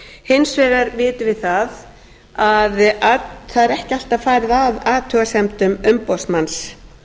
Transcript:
hins vegar vitum við það að það er ekki alltaf farið að athugasemdum umboðsmanns